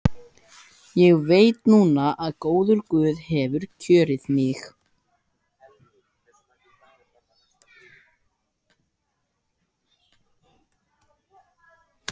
Ég veit núna að góður guð hefur kjörið mig.